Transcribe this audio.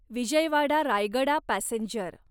Vijayawada Rayagada passenger